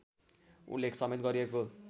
उल्लेख समेत गरिएको